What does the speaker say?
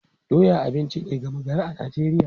Doya abinci ne gama gari a Najeriya.